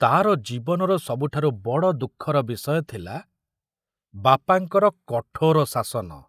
ତାର ଜୀବନର ସବୁଠାରୁ ବଡ଼ ଦୁଃଖର ବିଷୟ ଥିଲା ବାପାଙ୍କର କଠୋର ଶାସନ।